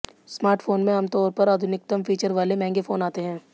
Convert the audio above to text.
smartphone में आमतौर पर आधुनिकतम फीचर वाले महंगे फोन आते हैं